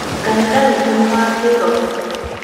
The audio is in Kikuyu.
Kanitha witũ nĩ wa kĩĩroho